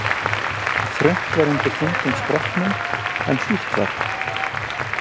Þröngt var undir þungum skrokknum, en hlýtt var það.